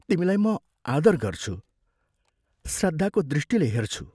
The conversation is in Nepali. तिमीलाई म आदर गर्छु, श्रद्धाको दृष्टिले हेर्छु।